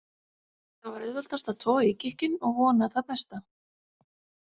Það var auðveldast að toga í gikkinn og vona það besta.